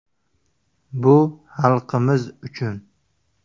Bu xalqimiz uchun.